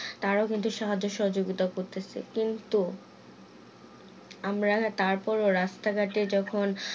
তারাও কিন্তু সাহায্য সহযোগিতা করতেছে কিন্তু আমরা তারপর রাস্তা ঘাটে যখন